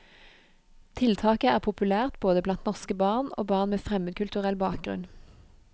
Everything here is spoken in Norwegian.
Tiltaket er populært både blant norske barn og barn med fremmedkulturell bakgrunn.